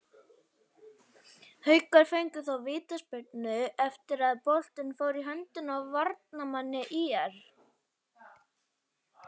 Haukar fengu þó vítaspyrnu eftir að boltinn fór í höndina á varnarmanni ÍR.